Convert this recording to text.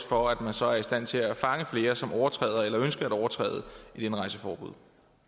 for at man så er i stand til at fange flere som overtræder eller ønsker at overtræde et indrejseforbud